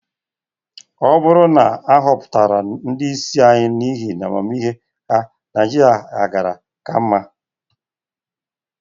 Ọ bụrụ na a họpụtara ndị isi anyị n'ihi amamihe ha, Naịjirịa gaara -aka mma.